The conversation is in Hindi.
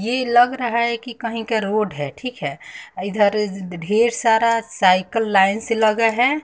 ये लग रहा है कि कहीं का रोड है ठीक है इधर ढेर सारा साइकल लाइन से लगा है।